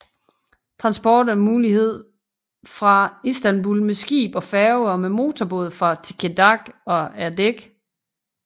Transport er mulig fra Istanbul med skib og færge og med motorbåd fra Tekirdağ og Erdek